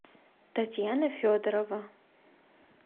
татьяна федорова